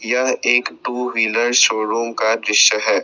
यह एक two wheeler showroom का दृश्य है।